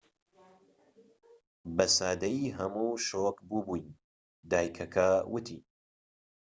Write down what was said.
بە سادەیی هەموو شۆك بوو بووین دایکەکە ووتی